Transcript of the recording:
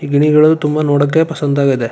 ಈ ಗಿಳಿಗಳು ತುಂಬಾ ನೋಡಕೆ ಪಸಂದಾಗದೆ .